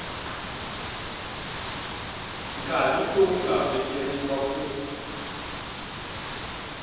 nkarhi lowu nga vekeriwa ku